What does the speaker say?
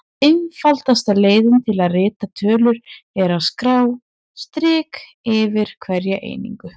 Einfaldasta leiðin til að rita tölur er að skrá strik fyrir hverja einingu.